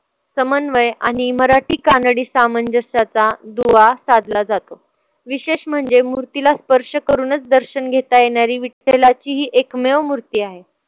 समन्वय आणि मराठी कानडी सामंजस्याचा दुवा साधला जातो. विशेष म्हणजे मूर्तीला स्पर्श करूनच दर्शन घेता येणारी विठ्ठलाची ही एकमेव मूर्ती आहे.